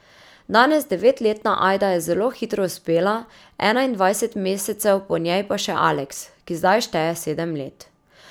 Danes devetletna Ajda je zelo hitro uspela, enaindvajset mesecev po njej pa še Aleks, ki zdaj šteje sedem let.